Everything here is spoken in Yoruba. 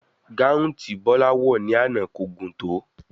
Gáhuùn tí Bola wò ní àná kò gùn tó.